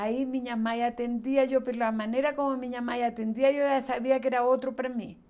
Aí minha mãe atendia, eu pela maneira como minha mãe atendia, eu já sabia que era outro para mim.